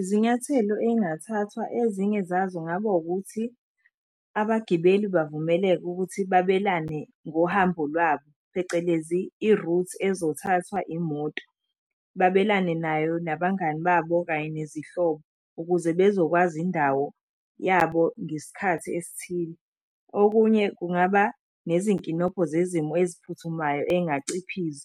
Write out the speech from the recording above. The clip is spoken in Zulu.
Izinyathelo ey'ngathathwa ezinye zazo kungaba ukuthi, abagibeli bavumeleke ukuthi babelane ngohambo lwabo phecelezi i-route ezothathwa imoto. Babelane nayo nabangani babo kanye nezihlobo, ukuze bezokwazi indawo yabo ngesikhathi esithile. Okunye kungaba nezinkinobho zezimo eziphuthumayo ey'ngaciphiza.